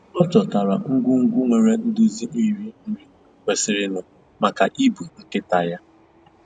Ọ chọtara ngwugwu nwere nduzi iri nri kwesịrịnụ maka ibu nkịta ya